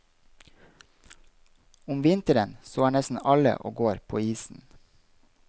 Om vinteren så er nesten alle og går på isen.